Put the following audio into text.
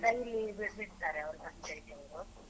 ನಲ್ಲಿಯಲ್ಲಿ ಬಿಡ್ತಾರೆ ಅವ್ರು ಪಂಚಾಯಿತಿಯವ್ರು.